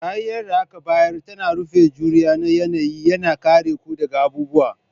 Kariyar da aka bayar ta rufin juriya na yanayi, yana kare ku daga abubuwa